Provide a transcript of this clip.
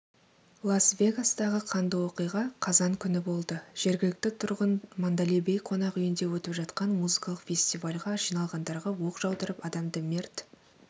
лас-вегастағы қанды оқиға қазан күні болды жергілікті тұрғын манделей бей қонақ үйінде өтіп жатқан музыкалық фестивальге жиналғандарға оқ жаудырып адамды мерт